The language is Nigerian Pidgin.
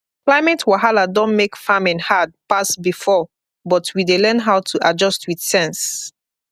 climate wahala don make farming hard pass before but we dey learn how to adjust with sense